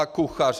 A kuchař.